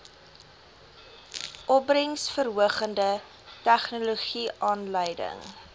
opbrengsverhogende tegnologie aanleiding